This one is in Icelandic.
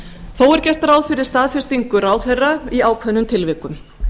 þó er gert ráð fyrir staðfestingu ráðherra í ákveðnum tilvikum